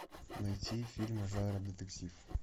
найти фильмы жанра детектив